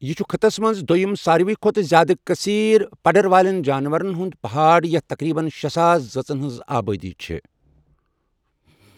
یہِ چُھ خٕطس منٛز دٔیُم ساروٕے کھۄتہٕ زیادٕ کثیٖر پڈڑ والین جانورن ہُنٛد پہاڑ یتھ تقریباً شے ساسَ ذٲژن ہِنٛز آبٲدی چھےٚ۔